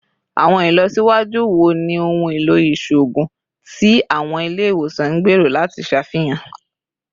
Awọn ilọsiwaju wo ni ohun elo iṣoogun ti awọn ile-iwosan n gbero lati ṣafihan?